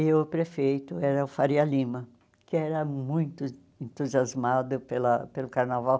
E o prefeito era o Faria Lima, que era muito entusiasmado pela pelo carnaval.